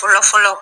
Fɔlɔ fɔlɔ